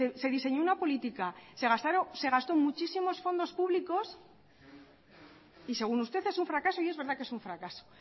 se diseñó una política se gastó muchísimos fondos públicos y según usted es un fracaso y es verdad que es un fracaso